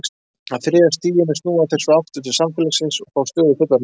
Á þriðja stiginu snúa þeir svo aftur til samfélagsins og fá stöðu fullorðinna manna.